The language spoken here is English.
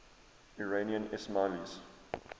iranian ismailis